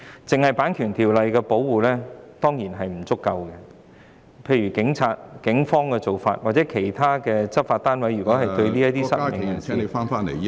單靠《版權條例》的保護當然不足夠，例如有警員及其他執法部門曾對失明人士......